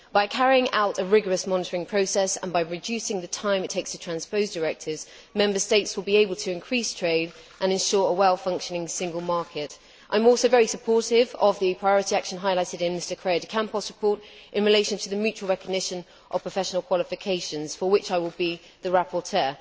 By carrying out a rigorous monitoring process, and by reducing the time it takes to transpose directives, Member States will be able to increase trade and ensure a well functioning Single Market. I am also very supportive of the priority action highlighted in Mr Correia de Campos' report in relation to the mutual recognition of professional qualifications, for which I will be the rapporteur.